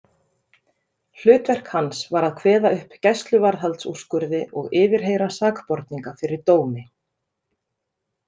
Hlutverk hans var að kveða upp gæsluvarðhaldsúrskurði og yfirheyra sakborninga fyrir dómi.